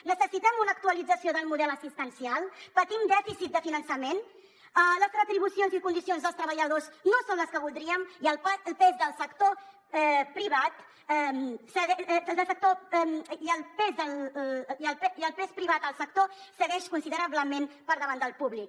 necessitem una actualització del model assistencial patim dèficit de finançament les retribucions i condicions dels treballadors no són les que voldríem i el pes del sector privat segueix considerablement per davant del públic